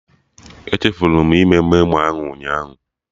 Echefuru m ime memo ahụ ụnyaahụ